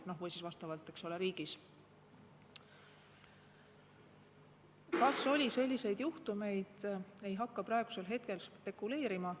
Kas oli selliseid juhtumeid, ei hakka praegu spekuleerima.